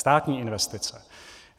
Státní investice.